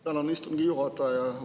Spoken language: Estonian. Tänan, istungi juhataja!